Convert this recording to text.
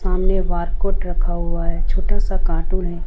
सामने बारकोड रखा हुआ है छोटा सा कार्टून है।